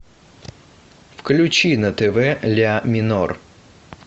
включи на тв ля минор